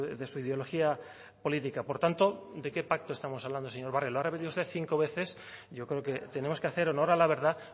de su ideología política por tanto de qué pacto estamos hablando señor barrio lo ha repetido usted cinco veces yo creo que tenemos que hacer honor a la verdad